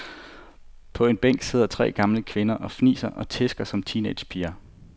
På en bænk sidder tre gamle kvinder og fniser og tisker som teenagepiger.